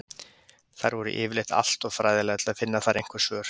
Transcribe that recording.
Þær voru yfirleitt alltof fræðilegar til að finna þar einhver svör.